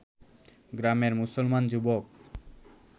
গ্রামের মুসলমান যুবক